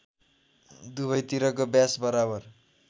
दुवैतिरको व्यास बराबर